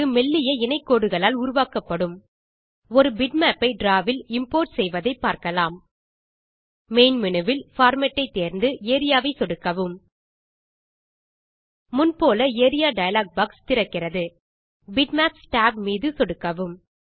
இது மெல்லிய இணை கோடுகளால் உருவாக்கப்படும் ஒரு பிட்மேப் ஐ டிராவ் வில் இம்போர்ட் செய்வதை பார்க்கலாம் மெயின் மேனு விலிருந்து பார்மேட் ஐ தேர்ந்து ஏரியா ஐ சொடுக்கவும் முன் போல ஏரியா டயலாக் பாக்ஸ் திறக்கிறது பிட்மேப்ஸ் tab மீது சொடுக்கவும்